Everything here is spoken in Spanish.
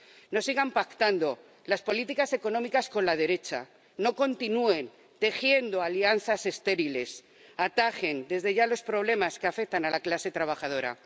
No sigan pactando las políticas económicas con la derecha, no continúen tejiendo alianzas estériles, atajen desde ya los problemas que afectan a la clase trabajadora.